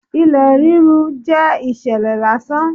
Ilẹ̀ rírú jẹ́ ìṣẹ̀lẹ̀ lásán.